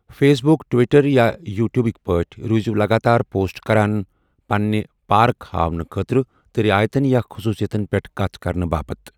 Face بُك، Twitter یا یوٗٹیوُبكہِ پٲٹھۍ روٗزِو لگاتار پوسٹ كران پنٕنہِ پارك ہاونہٕ خٲطرٕ تہٕ رعایتن یا خصوصِیتن پیٹھ كتھ كرنہٕ باپت ۔